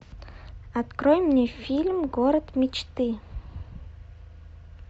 открой мне фильм город мечты